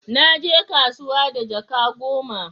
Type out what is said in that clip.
Na je kasuwa da jaka goma